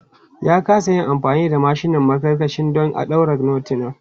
Ya kasa yin amfani da mashinan maƙarƙashiya don ɗaure notiran.